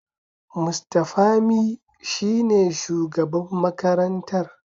Mr Pami shine shugaban makarantar.